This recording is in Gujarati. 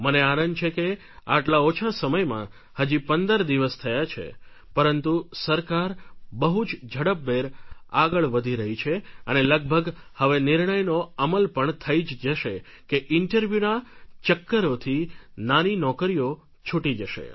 મને આનંદ છે કે આટલા ઓછા સમયમાં હજી પંદર દિવસ થયા છે પરંતુ સરકાર બહુ જ ઝડપભેર આગળ વધી રહી છે અને લગભગ હવે નિર્ણયનો અમલ પણ થઈ જશે કે ઇન્ટરવ્યુના ચક્કરોથી નાની નોકરીઓ છૂટી જશે